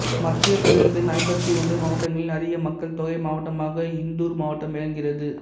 மத்தியப் பிரதேசத்தின் ஐம்பத்தி ஒன்று மாவட்டங்களில் அதிக மக்கள் தொகை மாவட்டமாக இந்தூர் மாவட்டம் விளங்குகிறது